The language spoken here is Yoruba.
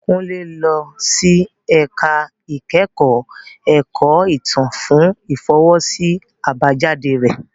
Kunle lọ sí ẹ̀ka ìkẹ́kọ̀ọ́ ẹ̀kọ́ ìtàn fún ìfọwọ́sí àbájáde rẹ.